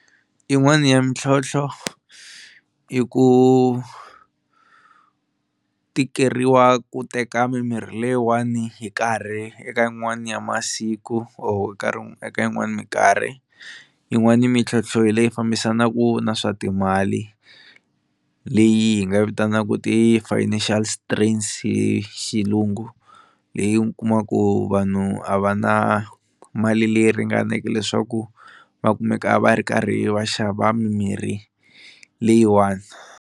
Yin'wani ya mintlhontlho i ku tikeriwa ku teka mimirhi leyiwani hi nkarhi eka yin'wani ya masiku or karhi eka yin'wani minkarhi, yin'wani mintlhontlho hi leyi fambisanaku na swa timali leyi hi nga vitanaka ti-financial strains hi xilungu leyi u kumaku vanhu a va na mali leyi ringaneke leswaku va kumeka va ri karhi va xava mimirhi leyiwani.